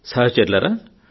సహచరులారా